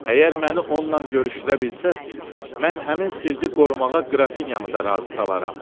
Əgər məni onunla görüşdürə bilsəniz, mən həmin sirri qorumağa Qrafinyanı da razı salaram.